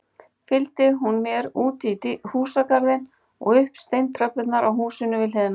Fylgdi hún mér útí húsagarðinn og upp steintröppurnar á húsinu við hliðina.